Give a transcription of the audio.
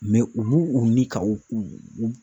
u b'u u ni ka u u